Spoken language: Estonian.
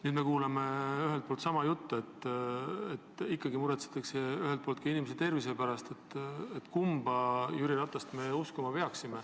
Nüüd me kuuleme sama juttu, ikkagi nagu muretsetakse ühelt poolt ka inimese tervise pärast.